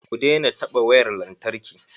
Ku daina taɓa wayar lantarki.